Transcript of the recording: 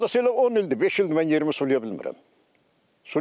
Hardasa elə 10 ildir, 5 ildir mən yerimi sulaya bilmirəm.